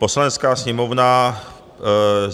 "Poslanecká sněmovna